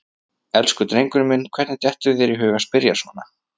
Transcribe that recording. Elsku drengurinn minn, hvernig dettur þér í hug að spyrja svona!